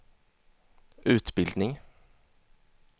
utbildning